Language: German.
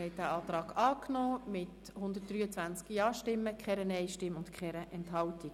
Sie haben den Antrag angenommen mit 123 Ja-, keinen Nein-Stimmen und keiner Enthaltung.